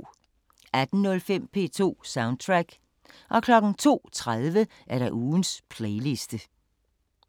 18:05: P2 Soundtrack 02:30: Ugens playliste